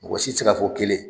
Mɔgɔ si tɛ se ka fɔ kelen.